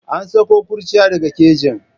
An sako kurciya daga kejin.